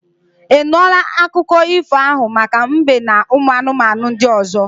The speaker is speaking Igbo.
I nụla akụkọ ifo ahụ maka mbe n'ụmụ anụmanụ ndị ọzọ?